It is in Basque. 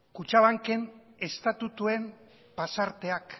kutxabanken estatutuen pasarteak